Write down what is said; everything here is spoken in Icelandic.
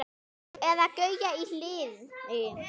Eða Gauja í Hliði!